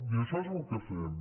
i això és el que fem